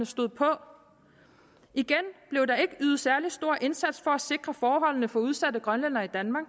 stod på igen blev der ikke ydet en særlig stor indsats for at sikre forholdene for udsatte grønlændere i danmark